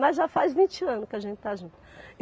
Mas já faz vinte anos que a gente está junto.